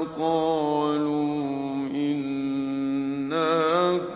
قَالُوا إِنَّا